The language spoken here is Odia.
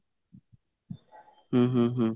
ଉଁ ହୁଁ ହୁଁ